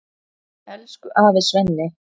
Elsku afi Svenni.